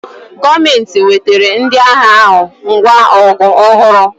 Gọọmenti wetara ndị agha ahụ ngwa ọgụ ọhụrụ